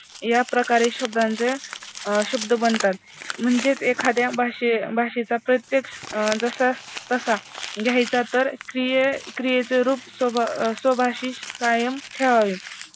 याप्रकारे शब्दांचे अं शब्द बनतात. म्हणजेच एखाद्या भाषे भाषेचा प्रत्येक जशास तसा घ्यायचा तर स्वभाषी कायम ठेवावे